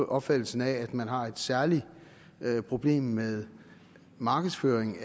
opfattelsen af at man har et særligt problem med markedsføring